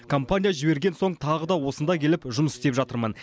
компания жіберген соң тағы да осында келіп жұмыс істеп жатырмын